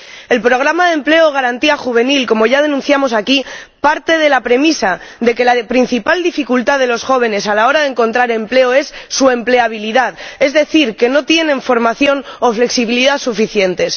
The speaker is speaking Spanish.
El programa de empleo Garantía Juvenil, como ya denunciamos aquí, parte de la premisa de que la principal dificultad de los jóvenes a la hora de encontrar empleo es su empleabilidad, es decir, que no tienen formación o flexibilidad suficientes.